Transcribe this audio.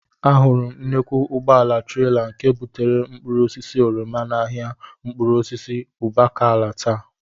Ahụrụ m nnukwu ụgbọala trela nke bubatara mkpụrụosisi oroma n'ahịa mkpụrụosisi Ụbakala taa